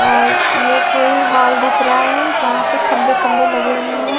ये कोई हॉल दिख रहा है जहां पे खंबे खंबे लगे हुए हैं।